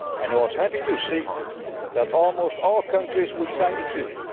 parties. I was happy to see that almost all countries will sign the